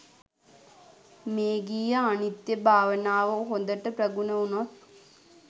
මේඝිය අනිත්‍ය භාවනාව හොඳට ප්‍රගුණ වුණොත්